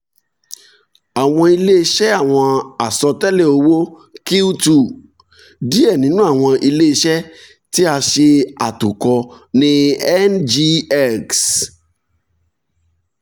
awọn ile-iṣẹ awọn asọtẹlẹ owo q two: diẹ ninu awọn ile-iṣẹ ti a ṣe atokọ ni ngx